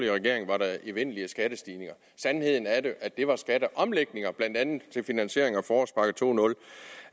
regering var evindelige skattestigninger sandheden er at det var skatte til finansiering